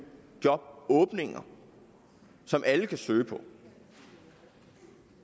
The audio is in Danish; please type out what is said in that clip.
jobåbninger som alle kan søge